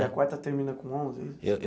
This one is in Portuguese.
E a quarta termina com onze?